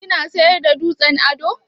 Kina siyar da dutsen ado?